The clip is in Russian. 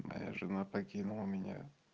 моя жена покинула меня